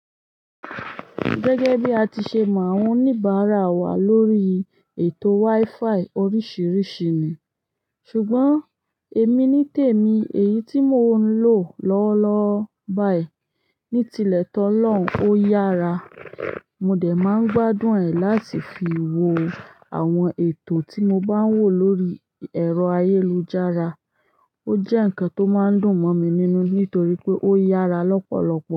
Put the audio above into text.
Gẹ́gẹ́ bí a ti ṣe mọ àwọn oníbàárà wà lórí ètò WiFi oríṣiríṣi ni, ṣùgbọ́n èmi nítèmi èyí tí mò ń lò lọ́wọ́lọ́wọ́ báyìí ní tilẹ̀ tó lọ́n ò yára. Mo dè máa ń gbádùn ẹ̀ láti fi wo àwọn ètò tí mo bá ń wò lórí ẹ̀rọ ayélujára. Ó jẹ́ ǹkan tó máa ń dùn mọ̀ mi nínú nítorí pé ó yára lọ́pọ̀lọpọ̀.